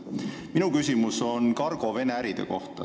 Minu küsimus on Cargo Vene äride kohta.